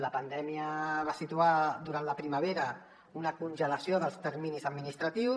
la pandèmia va situar durant la primavera una congelació dels terminis administratius